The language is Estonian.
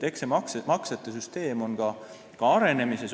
Eks maksete süsteem areneb.